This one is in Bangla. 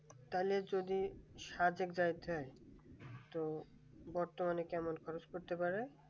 তাহলে যদি সাতজন যাইতে তো বর্তমানে কেমন করে